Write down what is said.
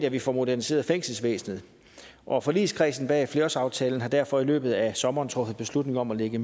at vi får moderniseret fængselsvæsenet og forligskredsen bag flerårsaftalen har derfor i løbet af sommeren truffet beslutning om at lægge